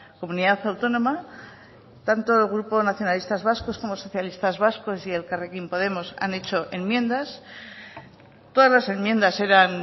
comunidad autónoma tanto el grupo nacionalistas vascos como socialistas vascos y elkarrekin podemos han hecho enmiendas todas las enmiendas eran